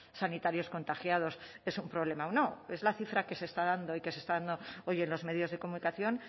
sanitarios contagiados es un problema o no es la cifra que se está dando y que se está dando hoy en los medios de comunicación